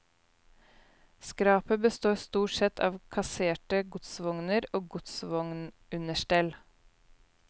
Skrapet består stort sett av kasserte godsvogner og godsvognunderstell.